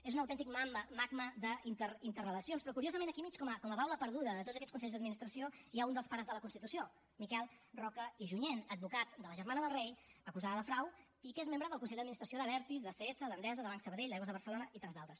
és un autèntic magma d’interrelacions però curiosament aquí al mig com a baula perduda de tots aquests consells d’administració hi ha un dels pares de la constitució miquel roca i junyent advocat de la germana del rei acusada de frau i que és membre del consell d’administració d’abertis d’acs d’endesa de banc sabadell d’aigües de barcelona i tants d’altres